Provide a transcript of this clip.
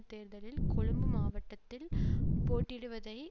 தேர்தலில் கொழும்பு மாவட்டத்தில் போட்டியிடுவதை